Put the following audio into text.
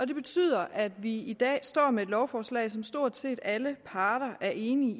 det betyder at vi i dag står med et lovforslag som stort set alle parter er enige